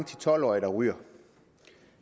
til tolv årige der ryger